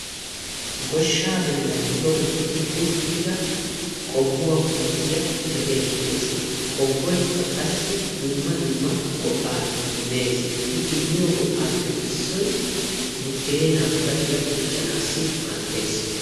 goshshaa bollan toketti uttida qobbuwaa puutiyaa be'eettees qobboykka qassi dumma dumma go"aa immees i immiyo go"aappe issoy buddeenaa bashiya quccanaassi maaddees